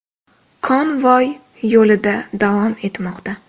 Konvoy yo‘lida davom etmoqda.